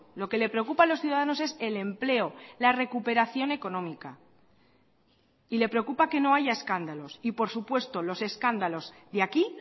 lo que le preocupa a los ciudadanos es el empleo la recuperación económica y le preocupa que no haya escándalos y por supuesto los escándalos de aquí